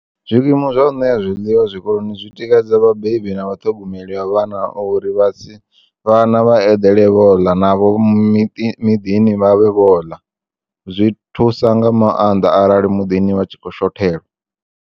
Zwikimu zwa u nea zwiḽiwa zwikoloni zwi tikedza vhabebi na vhaṱhogomeli vha vhana uri vhana vha eḓele vhoḽa navho miḓini vha vhe vhoḽa, zwi thusa nga maanḓa arali muḓini vha tshi kho u shothelwa.